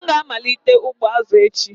M ga-amalite ugbo azụ echi.